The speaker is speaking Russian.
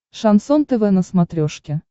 шансон тв на смотрешке